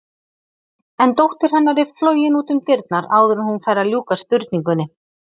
En dóttir hennar er flogin út um dyrnar áður en hún fær að ljúka spurningunni.